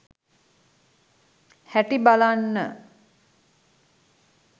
හැටි බලන්න